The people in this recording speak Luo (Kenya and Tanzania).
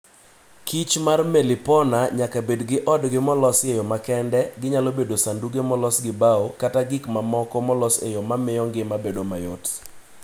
Kich mar melipona nyaka bed gi odgi molos e yo makende ginyalo bedo sanduge molos gi bao kata gik mamoko molos e yo ma miyo ngima bedo mayot.